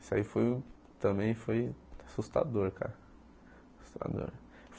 Isso aí foi também foi assustador, cara. Assustador